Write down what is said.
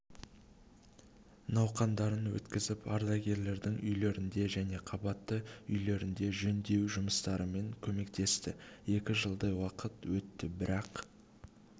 науқандарын өткізіп ардагерлердің үйлерінде және қабатты үйлерінде жөндеу жұмыстарымен көмектесті екі жылдай уақыт өтті бірақ